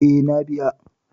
Eh, na biya.